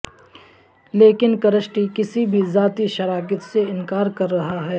لیکن کرسٹی کسی بھی ذاتی شراکت سے انکار کررہا ہے